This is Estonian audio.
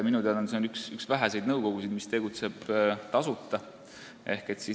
Minu teada on see üks väheseid nõukogusid, mis tegutseb tasuta.